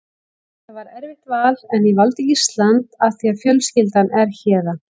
Þetta var erfitt val en ég valdi Ísland af því að fjölskyldan er héðan.